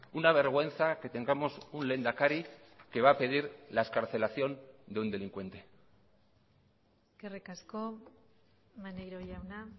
una vergüenza que tengamos un lehendakari que va a pedir la excarcelación de un delincuente eskerrik asko maneiro jauna